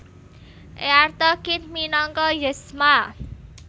Eartha Kitt minangka Yzma